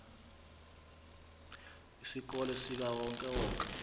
isikolo sikawonke wonke